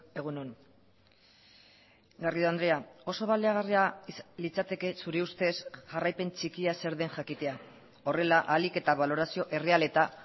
egun on garrido andrea oso baliagarria litzateke zure uztez jarraipen txikia zer den jakitea horrela ahalik eta balorazio erreal eta